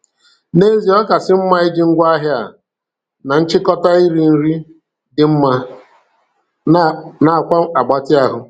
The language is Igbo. N'ezie, ọ kasị mma iji ngwaahịa a na nchịkọta iri nri dị mma nakwa mgbatị ahụ.